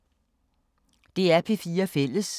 DR P4 Fælles